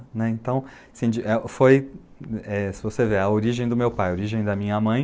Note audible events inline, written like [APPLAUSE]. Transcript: Né, então, [UNINTELLIGIBLE] foi, é se você ver, a origem do meu pai, a origem da minha mãe.